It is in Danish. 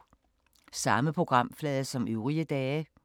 Samme programflade som øvrige dage